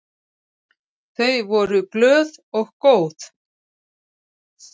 Umgangist þér enga pólitíska áhugamenn